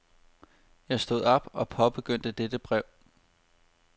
Jeg stod op og påbegyndte dette brev.